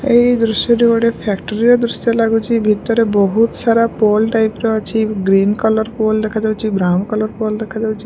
ଏହି ଦୃଶ୍ୟଟି ଗୋଟେ ଫ୍ୟାକ୍ଟ୍ରି ର ଦୃଶ୍ୟ ଲାଗୁଛି ଭିତରେ ବହୁତ ସାରା ପୋଲ୍ ଟାଇପ ର ଅଛି ଗ୍ରୀନ କଲର୍ ପୋଲ ଦେଖାଯାଉଛି ବ୍ରାଉନ କଲର୍ ପୋଲ୍ ଦେଖାଯାଉଛି।